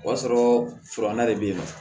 O b'a sɔrɔ furanna de bɛ ye nɔ